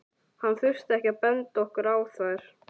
Hann þurfti ekki að benda okkur á þær.